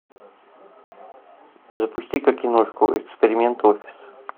запусти ка киношку эксперимент офис